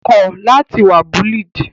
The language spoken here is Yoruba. Kọ lati wa ni bullied!